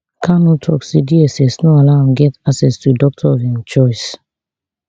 kanu tok say dss no allow am get access to a doctor of im choice